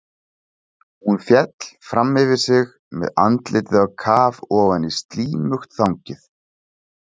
Hún féll fram yfir sig með andlitið á kaf ofan í slímugt þangið.